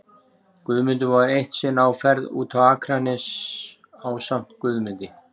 Guðmundur var eitt sinn á ferð út á Akranes ásamt Guðmundi